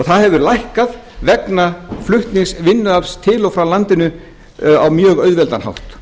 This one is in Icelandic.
það hefur lækkað vegna flutning vinnuafls til og frá landinu á mjög auðveldan hátt